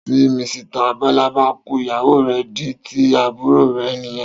Tí Misita Bọ́lá bá kú, ìyàwó rè di tíì àbúrò rẹ̀ nìyẹn